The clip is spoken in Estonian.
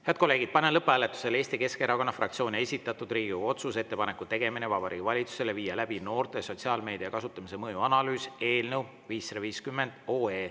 Head kolleegid, panen lõpphääletusele Eesti Keskerakonna fraktsiooni esitatud Riigikogu otsuse "Ettepaneku tegemine Vabariigi Valitsusele viia läbi noorte sotsiaalmeedia kasutamise mõju analüüs" eelnõu 550.